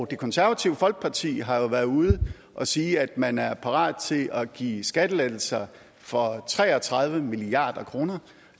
det konservative folkeparti har jo været ude at sige at man er parat til at give skattelettelser for tre og tredive milliard kr